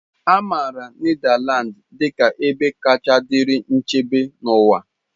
A maara Nedalands dị ka ebe kacha dịrị nchebe n'ụwa.